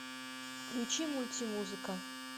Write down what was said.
включи мультимузыка